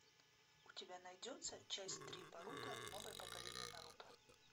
у тебя найдется часть три боруто новое поколение наруто